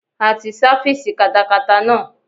A ti sáfísì katakata náà.